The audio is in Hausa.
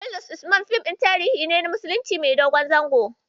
"Kurulus Usman" fim ɗin tarihin musulunci ne mai dogon zango.